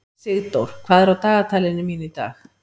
Sigdór, hvað er á dagatalinu mínu í dag?